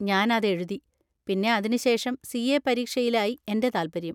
ഞാൻ അതെഴുതി. പിന്നെ അതിനുശേഷം സി.എ. പരീക്ഷയിലായി എൻ്റെ താല്പര്യം.